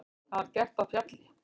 Það var gert á Fjalli.